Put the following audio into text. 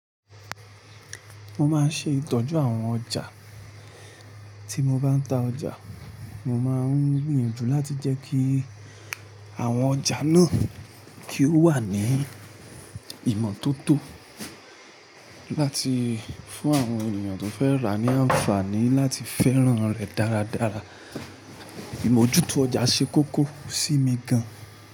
Mo máa ń ṣe ìtọ́jú àwọn ọjà. Tí mo bá ń ta ọjà, mo máa ń gbìyànjú láti jẹ́ kí àwọn ọjà náà kí ó wà ní ìmọ́tótó láti fún àwọn ènìyàn tó fẹ́ rà ní àǹfààní láti fẹ́ràn rẹ̀ dáradára. Ìmójútó ọjà ṣe kókó sí mi gan.